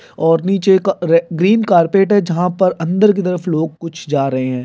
और नीचे का अ ग्रीन कार्पेट है जहाँ पर अंदर के तरफ लोग कुछ जा रहे है।